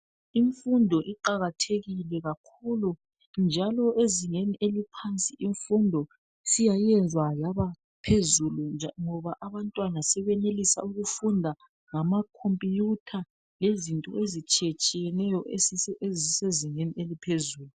Imfundo iqakathekile kakhulu, njalo ezingeni eliphansi, imfundo siyayenziwa yabaphezulu, nja..ngoba abantwana sebenelisa ukufunda ngamacomputer. Lezinto ezitshiyetshiyeneyo. Ezisezingeni eliphezulu.